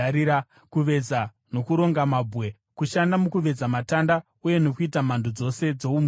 kuveza nokuronga mabwe, kushanda mukuveza matanda uye nokuita mhando dzose dzoumhizha.